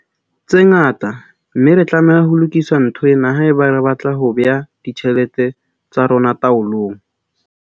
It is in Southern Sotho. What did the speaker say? tse ngata, mme re tlameha ho lokisa ntho ena haeba re batla ho bea ditjhelete tsa rona taolong.